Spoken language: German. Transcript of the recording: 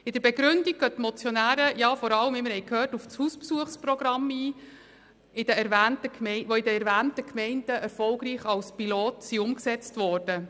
In der Begründung gehen die Motionäre vor allem auf die Hausbesuchsprogramme ein, die in den erwähnten Pilotgemeinden erfolgreich umgesetzt wurden.